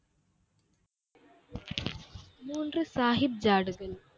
மூன்று சாஹிப் ஜாடுகள்.